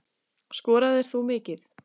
Skoraðir þú mikið?